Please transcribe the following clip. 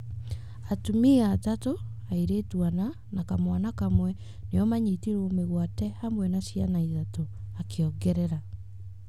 Atumia atatũ, airĩtu ana na kamwana kamwe nĩo maanyitirwo mĩgwate hamwe na ciana ithatũ, akĩongerera.